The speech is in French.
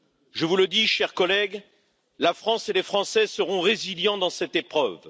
Je vous le dis, chers collègues, la France et les Français seront résilients dans cette épreuve.